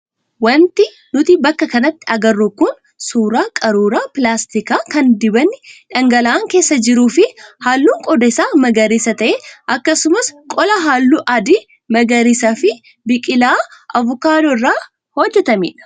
Wanti nuti bakka kanatti agarru kun suuraa qaruuraa pilaastikaa kan dibatni dhangala'aan keessa jiruu fi halluun qodaa isaa magariisa ta'e akkasumas qola halluu adii, magariisaa fi biqilaa avokaadoo irraa hojjatamedha.